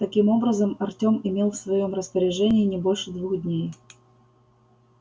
таким образом артем имел в своём распоряжении не больше двух дней